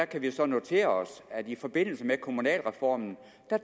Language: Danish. kan vi jo så notere os at man i forbindelse med kommunalreformen